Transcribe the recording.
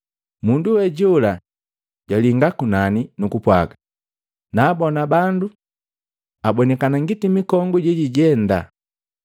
Mundu we jola jwalinga kunani, nukupwaga, “Naabona bandu abonikana ngiti mikongu jejijenda.”